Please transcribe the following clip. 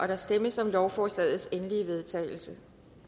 der stemmes om lovforslagets endelige vedtagelse